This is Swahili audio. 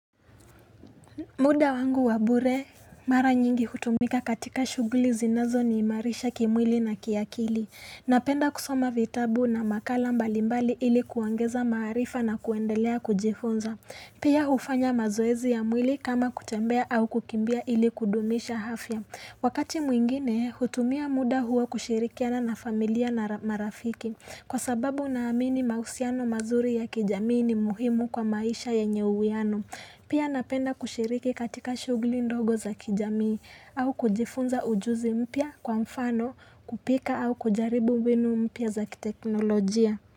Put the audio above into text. Muda wangu wa bure mara nyingi hutumika katika shuguli zinazo niimarisha kimwili na kiakili. Napenda kusoma vitabu na makala mbalimbali ili kuongeza maarifa na kuendelea kujifunza. Pia hufanya mazoezi ya mwili kama kutembea au kukimbia ili kudumisha afya. Wakati mwingine hutumia muda huo kushirikiana na familia na marafiki. Kwa sababu naamini mahusiano mazuri ya kijamii ni muhimu kwa maisha yenye uwiano. Pia napenda kushiriki katika shughuli ndogo za kijamii au kujifunza ujuzi mpya kwa mfano kupika au kujaribu mbinu mpya za kiteknolojia.